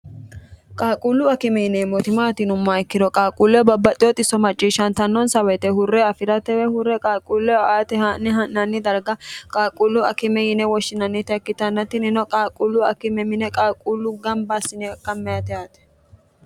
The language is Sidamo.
qaaquullu akime yineemmoti maati yinummoha ikkiro qaaquulle babbaxxewo xisso macciishshantannonsa woyite hurre afi'ratewe hurre qaaquulle aate haa'ne ha'nanni darga qaaquullu akime yine woshshinannita ikkitanna tinino qaaquullu akime mine qaaquullu gamba assine akammanite yaate